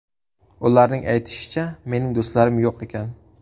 Ularning aytishicha, mening do‘stlarim yo‘q ekan.